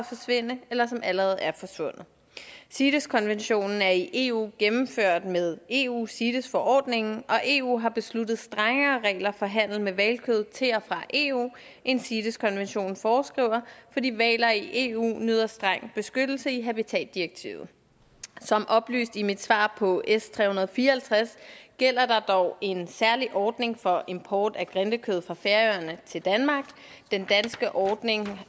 forsvinde eller som allerede er forsvundet cites konventionen er i eu gennemført med eu cites forordningen og eu har besluttet strengere regler for handel med hvalkød til og fra eu end cites konventionen foreskriver fordi hvaler i eu nyder streng beskyttelse i habitatdirektivet som oplyst i mit svar på s tre hundrede og fire og halvtreds gælder der er dog en særlig ordning for import af grindekød fra færøerne til danmark den danske ordning